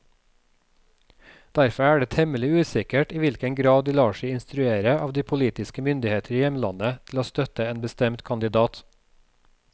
Derfor er det temmelig usikkert i hvilken grad de lar seg instruere av de politiske myndigheter i hjemlandet til å støtte en bestemt kandidat.